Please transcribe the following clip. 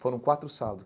Foram quatro sábados.